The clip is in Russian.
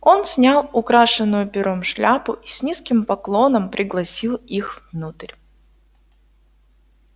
он снял украшенную пером шляпу и с низким поклоном пригласил их внутрь